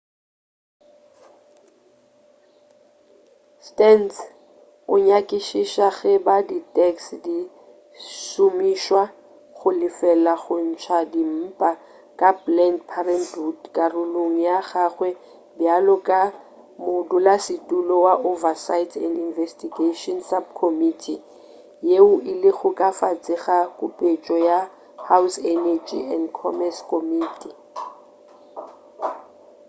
stearns o nyakišiša ge e ba di tax di šomišwa go lefela go ntša dimpa ka planned parenthood karolong ya gagwe bjalo ka modulasetulo wa oversight and investigation subcommittee yeo e lego ka fase ga kupetšo ya house energy and commerce committee